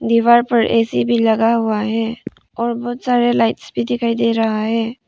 दीवार पर ऐ_सी भी लगा हुआ है और बहुत सारे लाइट्स भी दिखाई दे रहा है।